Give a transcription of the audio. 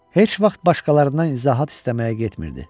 Heç vaxt başqalarından izahat istəməyə getmirdi.